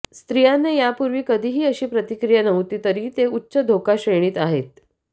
स्त्रियांना यापूर्वी कधीही अशी प्रतिक्रिया नव्हती तरीही ते उच्च धोका श्रेणीत आहेत